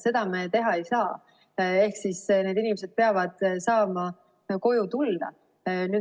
Seda me teha ei saa ehk siis need inimesed peavad saama koju tulla.